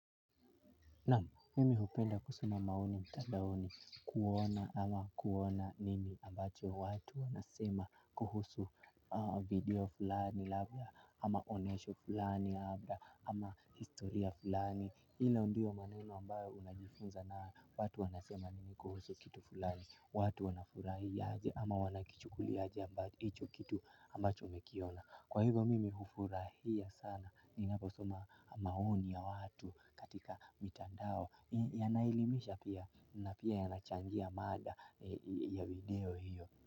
Namu, mimi hupenda kusoma maoni mtandaoni kuona ama kuona nini ambacho watu wanasema kuhusu video fulani labda ama onyesho fulani labda ama historia fulani. Hilo ndio maneno ambayo unajifunza nayo watu wanasema nini kuhusu kitu fulani, watu wanafurahi aje ama wanakichukulia aje ambacho hicho kitu ambacho umekiona. Kwa hivyo mimi hufurahia sana ninaposoma maoni ya watu katika mitandao ili yanaelimisha pia na pia yanachangia mada ya video hiyo.